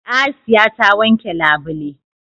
Asiya ta wanke labule.